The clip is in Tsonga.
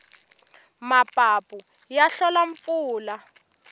mapapu ya hlola mpfula